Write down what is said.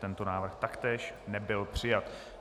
Tento návrh taktéž nebyl přijat.